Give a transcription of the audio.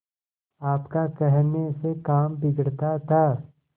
आपका कहने से काम बिगड़ता था